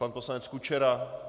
Pan poslanec Kučera?